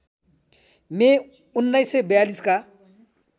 मे १९४२ का